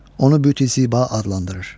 Onu büt-i ziba adlandırır.